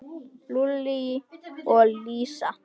Lúlli og Elísa.